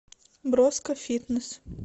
броско фитнес